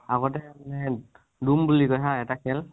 আগতে আমি দুম বুলি কয় হা এটা খেল।